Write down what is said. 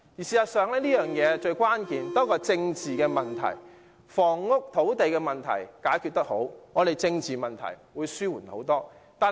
事實上，房屋供應亦關乎政治問題，房屋及土地問題能好好解決，政治問題便得以大大紓緩。